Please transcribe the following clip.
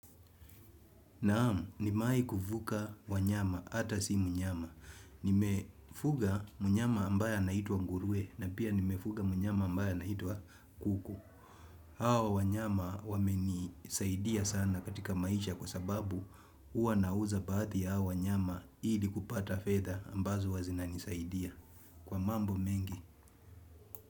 Naam, nimewahi kufuga wanyama, hata si mnyama. Nimefuga mnyama ambaye na anaitwa nguruwe na pia nimefuga mnyama ambaye anaitwa kuku. Hawa wanyama wamenisaidia sana katika maisha kwa sababu uwa nauza baadhi hawa wanyama ili kupata fedha ambazo huwa zina nisaidia. Kwa mambo mengi.